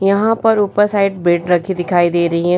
यहाँ पर ऊपर साइड बेड रखी दिखाई दे रही हैं |